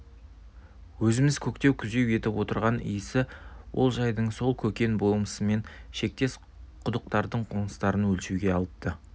өзіміз көктеу-күзеу етіп отырған исі олжайдың сол көкен болысымен шектес құдықтарын қоныстарын өлшеуге алыпты